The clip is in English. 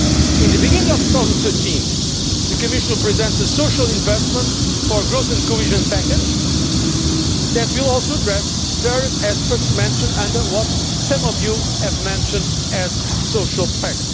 At the beginning of 2013 the Commission will present a social investment for growth and cohesion package which will also address various aspects mentioned under what some of you have described as the social pact.